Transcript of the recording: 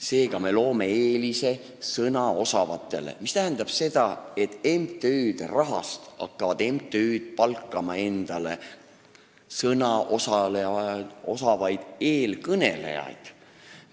Seega me loome eelise sõnaosavatele, mis tähendab seda, et MTÜ-d hakkavad oma rahaga sõnaosavaid eestkõnelejaid palkama.